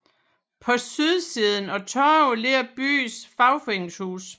På sydsiden af torvet ligger byens fagforeningshus